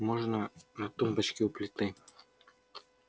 можно на тумбочке у плиты